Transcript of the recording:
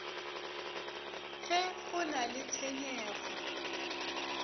ge go na le tshenyego